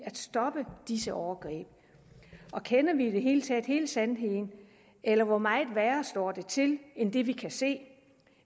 at stoppe disse overgreb og kender vi i det hele taget hele sandheden eller hvor meget værre står det til end det vi kan se